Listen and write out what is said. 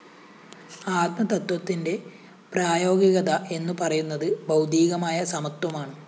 ആത്മതത്ത്വത്തിന്റെ പ്രായോഗികത എന്നുപറയുന്നത് ഭൗതികമായ സമത്വമാണ്